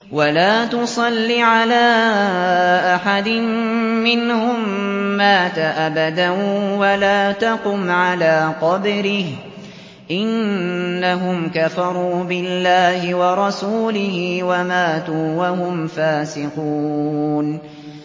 وَلَا تُصَلِّ عَلَىٰ أَحَدٍ مِّنْهُم مَّاتَ أَبَدًا وَلَا تَقُمْ عَلَىٰ قَبْرِهِ ۖ إِنَّهُمْ كَفَرُوا بِاللَّهِ وَرَسُولِهِ وَمَاتُوا وَهُمْ فَاسِقُونَ